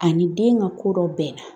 Ani den ŋa ko dɔ bɛnna